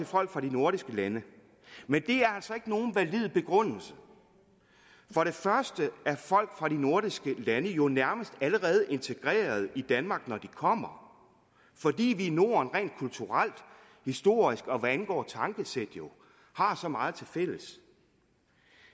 folk fra de nordiske lande men det er altså ikke nogen valid begrundelse for det første er folk fra de nordiske lande jo nærmest allerede integreret i danmark når de kommer fordi vi i norden rent kulturelt historisk og hvad angår tankesæt har så meget tilfælles